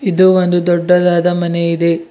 ಇದು ಒಂದು ದೊಡ್ಡದಾದ ಮನೆ ಇದೆ.